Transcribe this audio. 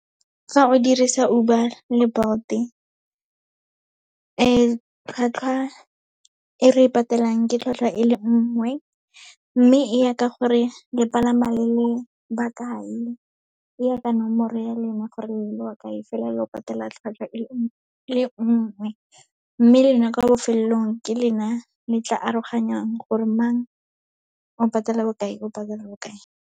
Fa o dirisa Uber le Bolt-e tlhwatlhwa e re patelang ke tlhwatlhwa e le nngwe, mme e ya ka gore le palama le le bakae, e ya ka nomoro ya lena, gore le ba bakae, fela lo patela tlhwatlhwa e le nngwe, le nngwe. Mme lena kwa bofelelong, ke lena le tla aroganyang gore mang o patela bokae, o patela bokae.